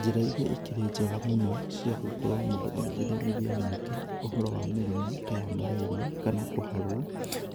Njĩra iria ikĩrĩ njega mũno cia gũkorwo mũndũ agĩgĩthomithia mũingĩ ũhoro wa mĩrimũ ta ya marĩria kana kũharwo,